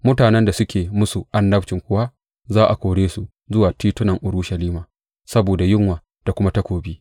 Mutanen da suke musu annabcin kuwa za a kore su zuwa titunan Urushalima saboda yunwa da kuma takobi.